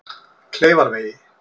Kleifarvegi